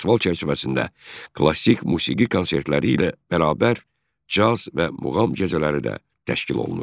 Festival çərçivəsində klassik musiqi konsertləri ilə bərabər caz və muğam gecələri də təşkil olunur.